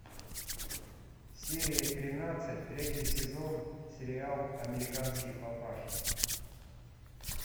серия тринадцать третий сезон сериал американский папаша